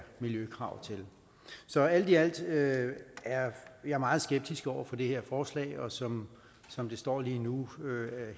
miljøkrav til så alt i alt er er jeg meget skeptisk over for det her forslag og som som det står lige nu